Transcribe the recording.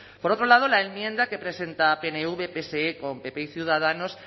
por otro lado la enmienda que presenta pnv pse con pp ciudadanos